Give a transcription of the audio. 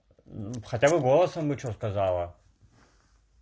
хотя бы голосом бы что сказала